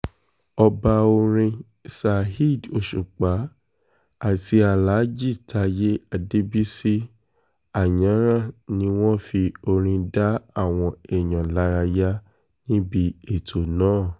ọba orin saheed òṣùpá àti alhaji taye adébísí ayaran ni wọ́n fi orin dá àwọn èèyàn lárayá níbi ètò náà